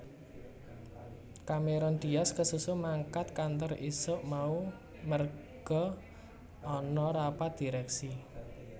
Cameron Diaz kesusu mangkat kantor isuk mau merga ana rapat direksi